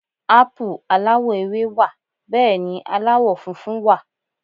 Ápù aláwọ̀ ewé wà Bẹ́ẹ̀ni aláwọ̀ funfun wà